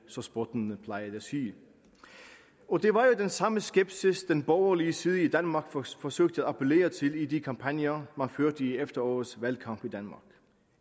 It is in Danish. så spottende plejede at sige det var jo den samme skepsis den borgerlige side i danmark forsøgte at appellere til i de kampagner man førte i efterårets valgkamp